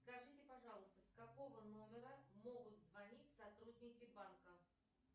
скажите пожалуйста с какого номера могут звонить сотрудники банка